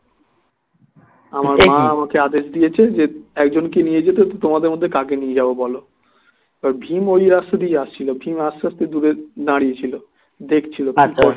আমার মা আমাকে আদেশ দিয়েছে একজন কে নিয়ে যেতে তোমাদের মধ্যে কে কে নিয়ে যাবো বলো ভীম ওই রাস্তা দিয়ে আসছিল ভীম আস্তে আস্তে দূরে দাঁড়িয়ে ছিল দেখছিল